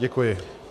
Děkuji.